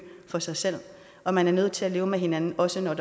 for sig selv og man er nødt til at leve med hinanden også når